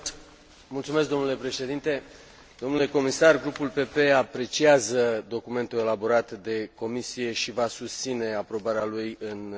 Grupul PPE apreciază documentul elaborat de Comisie și va susține aprobarea lui în cursul președinției maghiare.